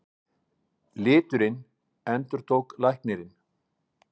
Liturinn, endurtók læknirinn.